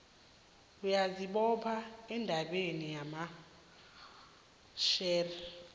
uyazibopha endabeni yamashare